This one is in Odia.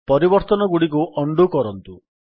ପରିବର୍ତ୍ତନଗୁଡ଼ିକୁ ଉଣ୍ଡୋ କରନ୍ତୁ